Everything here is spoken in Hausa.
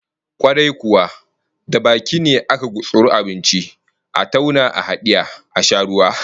Kwarai kuwa, da baki ne akan gutsuri abinci, a tauna a hadiye, a sha ruwa